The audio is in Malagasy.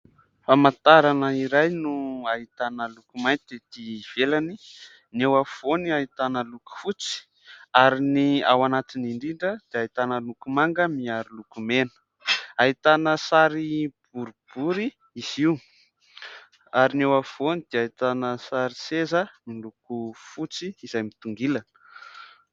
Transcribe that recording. Famantarana iray no ahitana loko mainty ety ivelany. Ny eo afovoany ahitana loko fotsy ary ny ao anatiny indrindra dia ahitana loko manga miaro loko mena. Ahitana sary boribory izy io ary ny eo afovoany dia ahitana sary seza miloko fotsy izay mitongilana.